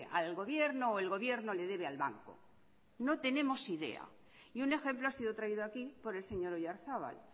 al gobierno o el gobierno le debe al banco no tenemos ni idea y un ejemplo ha sido traído aquí por el señor oyarzabal